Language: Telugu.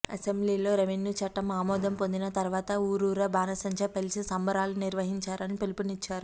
అసెంబ్లీలో రెవెన్యూ చట్టం ఆమోదం పొందిన తర్వాత ఊరూరా బాణసంచా పేల్చి సంబురాలు నిర్వహించాలని పిలుపునిచ్చారు